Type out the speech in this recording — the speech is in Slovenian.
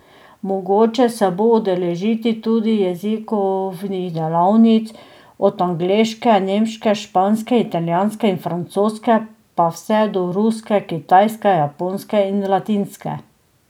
Mogoče se bo udeležiti tudi jezikovnih delavnic, od angleške, nemške, španske, italijanske in francoske pa vse do ruske, kitajske, japonske in latinske.